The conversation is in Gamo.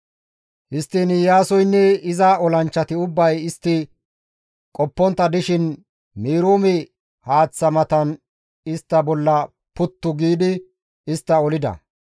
Histtiin Iyaasoynne iza olanchchati ubbay istti qoppontta dishin Meroome haaththaa matan istta bolla puttu giidi istta olida.